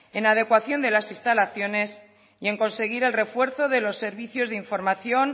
en la adecuación de las instalaciones y en conseguir el refuerzo de los servicios de información